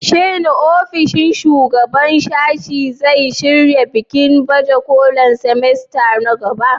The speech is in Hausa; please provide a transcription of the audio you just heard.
Shin ofishin shugaban sashe zai shirya bikin baje kolin semester na gaba?